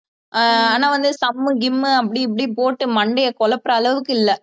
ஆஹ் ஆனா வந்து சம்மு கிம்மு அப்படி இப்படி போட்டு மண்டையை குழப்புற அளவுக்கு இல்ல